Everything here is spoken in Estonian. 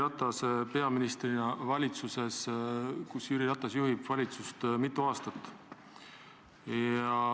Te olete olnud nüüd valitsuses, mida juhib Jüri Ratas, mitu aastat.